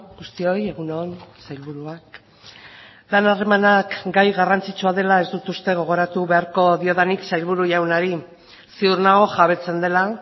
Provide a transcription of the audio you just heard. guztioi egun on sailburuak lan harremanak gai garrantzitsua dela ez dut uste gogoratu beharko diodanik sailburu jaunari ziur nago jabetzen dela